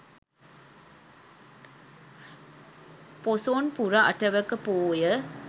පොසොන් පුර අටවක පෝය